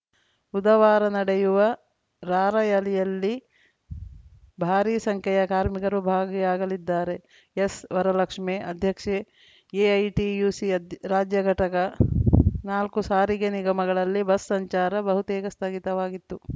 ಬುಧವಾರ ನಡೆಯುವ ರಾರ‍ಯಲಿಯಲ್ಲಿ ಭಾರಿ ಸಂಖ್ಯೆಯ ಕಾರ್ಮಿಕರು ಭಾಗಿಯಾಗಲಿದ್ದಾರೆ ಎಸ್‌ವರಲಕ್ಷ್ಮೇ ಅಧ್ಯಕ್ಷೆ ಎಐಟಿಯುಸಿ ರಾಜ್ಯ ಘಟಕ ನಾಲ್ಕು ಸಾರಿಗೆ ನಿಗಮಗಳಲ್ಲಿ ಬಸ್‌ ಸಂಚಾರ ಬಹುತೇಕ ಸ್ಥಗಿತವಾಗಿತ್ತು